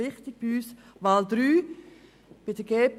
Wichtig für uns ist dritte Wahl: